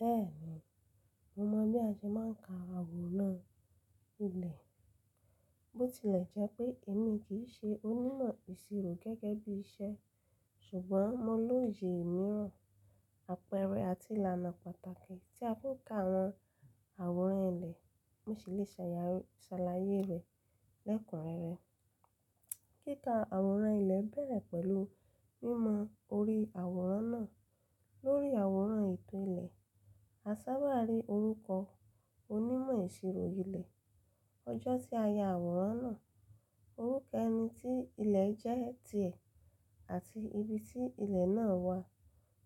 Bẹ́ẹ̀ni, mo mọ̀ bí a ṣe máa ń ka àwòrán ilẹ̀. Bó tilẹ̀ jẹ́ pé èmi kì í ṣe onímọ̀ ìṣirò gẹ́gẹ́ bí iṣẹ́ ṣùgbọ́n mo lóye ìmiran, àpẹẹrẹ àti ìlànà pàtàkì tí a fi ń ka àwọn àwòrán ilẹ̀. Mo sì lè ṣàlàyé rẹ̀ lẹ́kùn rẹ́rẹ. Kíka àwòrán ilẹ̀ bẹ̀rẹ̀ pẹ̀lú mímọ orí àwòrán náà. Lórí àwòrán ètò ilẹ̀, a sábà rí orúkọ onímọ̀ ìṣirò ilẹ̀, ọjọ́ tí a ya àwòrán náà, orúkọ ẹni tí ilẹ̀ jẹ́ ti ẹ̀ àti ibi tí ilẹ̀ náà wà.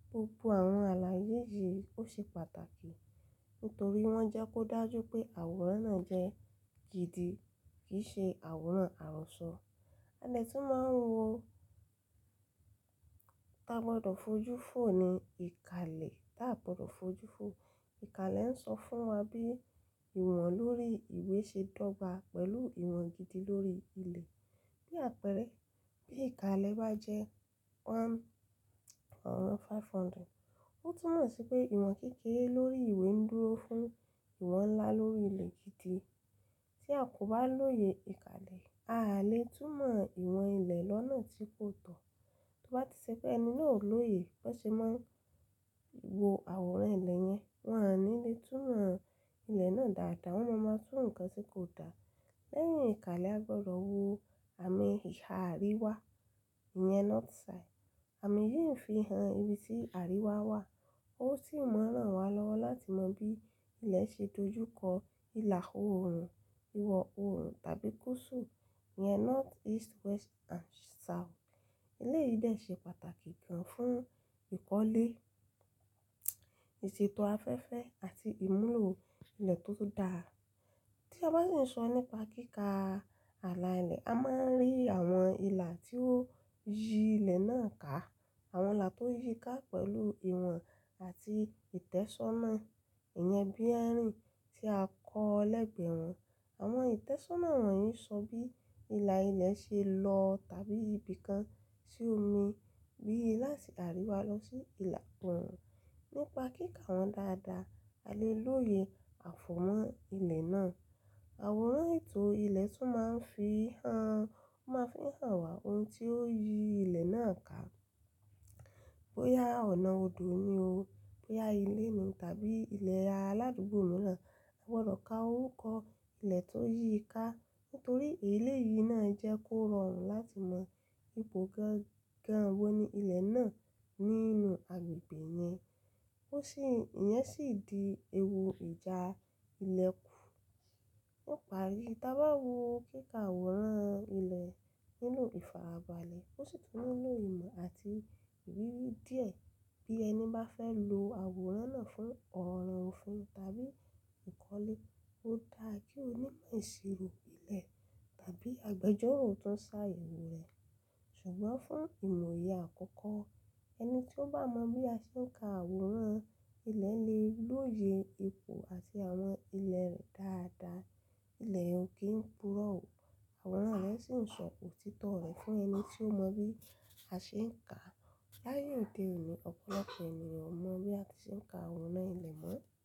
Gbogbo àwọn àlàyé yìí ó ṣe pàtàkì nítorí wọ́n jẹ́ kó dájú pé àwòrán náà jẹ́ gidi kì í ṣe àwòrán àrọ́sọ. A lè tún máa ń wo táa gbọdọ̀ fojú fò ní ìka ilẹ̀. Táa gbọdọ̀ fojú fò ìka ilẹ̀ ń sọ fún wa bí ìwọ̀n lórí ìwé ṣe dọ̀ba pẹ̀lú ìwọ̀n gidi lórí ilẹ̀. Bí àpẹẹrẹ, bí ìka ilẹ̀ bá jẹ́ ọ̀kan sí ọgọ́rùn-ún márùn-ún, ó túmọ̀ sí pé ìwọ̀n kékeré lórí ìwé ń dúró fún ìwọ̀n ńlá lórí ilẹ̀ gidi. Tí a kò bá lóye ìka ilẹ̀, a le túmọ̀ ìwọ̀n ilẹ̀ lọ́nà tí kò tọ́. Torí bá ti ṣe pé ẹni náà ò lóye bó ṣe máa ń wo àwòrán ilẹ̀ yẹn, wọn a ní le túmọ̀ ilẹ̀ náà dáadáa, wọ́n mọ̀ máa tú nǹkan tí kò da. Lẹ́yìn ìka ilẹ̀ a gbọdọ̀ wo àmì ìhà àríwá, ìyẹn north side. Àmì yìí ń fi hàn ibi tí àríwá wà. Ó sì ń ma n ran wa lọ́wọ́ láti mọ bí ilẹ̀ ṣe dojúkọ ìlà oòrùn, ìwọ̀ oòrùn tàbí gúùsù, ìyẹn north, east, west and south. Ilé yìí dà ṣe pàtàkì gan fún ìkọ́lé, ìṣètò afẹ́fẹ́ àti ìmúlò ilẹ̀ tó dáa. Tí a bá sì ń sọ nípa kíka ààlà ilẹ̀, a máa ń rí àwọn ìlà tí ó yí ilẹ̀ náà ká. Àwọn ìlà tó yí ká pẹ̀lú ìwọ̀n àti ìtẹ́sọ́nà, ìyẹn bearing tí a kọ́ lẹ́gbẹ̀ẹ́ wọn. Àwọn ìtẹ́sọ́nà wọ̀nyí ń sọ bí ìlà ilẹ̀ ṣe lọ tàbí ibi kan sí omi, bí látìì àríwá lọ sí ìlà oòrùn. Nípa kíka wọn dáadáa, a lè lóye àfọ̀wọ́ ilẹ̀ náà. Àwòrán ètò ilẹ̀ tún máa ń fi hàn, ó máa ń fi hàn wá ohun tí ó yí ilẹ̀ náà ká. Bóyá ọ̀nà odò ni o, bóyá ilé ni tàbí ilẹ̀ aládùúgbò mìíràn. A gbọdọ̀ ka orúkọ ilẹ̀ tó yí ká nítorí èlé yìí náà jẹ́ kó rọrùn láti mọ ibo gangan wo ni ilẹ̀ náà nínú agbègbè yẹn. Ó sì, ìyẹn sì di ewu ìjà ilẹ̀kù. Ó pari, tí a bá wo kíka àwòrán ilẹ̀ nínú ìfarabalẹ̀, ó sì tún mú lóye ìmọ̀ àti ìrírí díẹ̀ bí ẹni bá fẹ́ lo àwòrán náà fún ọ̀rọ̀ ọ̀fin tàbí ìkọ́lé. Ó da kí onímọ̀ ìṣirò ilẹ̀ tàbí agbẹjọ́ró tó ń ṣàyẹ̀wò rẹ̀. Ṣùgbọ́n fún ìmọ̀ye àkọ́kọ́, ẹni tí ó bá mọ bí a ṣe ń ka àwòrán ilẹ̀ lè lóye ipò àti àwọn ilẹ̀ rẹ̀ dáadáa. Ilẹ̀ ò kí ń purọ́ ò, àwòrán rẹ̀ sì ń sọ òtítọ́ rẹ̀ fún ẹni tí ó mọ bí a ṣe ń ka. Láàye òde òní, ọ̀pọ̀lọpọ̀ ènìyàn mọ bí a ṣe ń ka àwòrán ilẹ̀ mọ́.